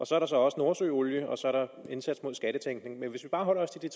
så er der også nordsøolien og så er der en indsats mod skattetænkning men hvis vi bare holder os til de